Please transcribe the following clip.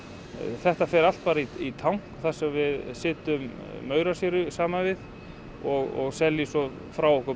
þetta fer allt bara í tank þar sem setjum samanvið og seljum frá okkur